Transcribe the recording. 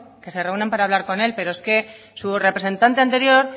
que se reúnan para hablar con él pero es que su representante anterior